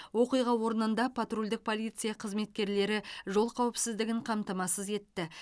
оқиға орнында патрульдік полиция қызметкерлері жол қауіпсіздігін қамтамасыз етті